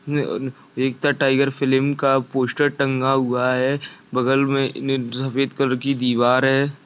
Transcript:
--एक था टाइगर फिल्म का पोस्टर टँगा हुआ है बगल में सफेद कलर की दिवार है।